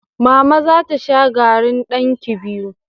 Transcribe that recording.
Mama za ta sha garri ɗankii biyu.